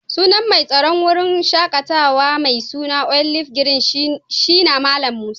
Sunan mai tsaron wurin shakatawa mai suna olive green shina Mallam Musa.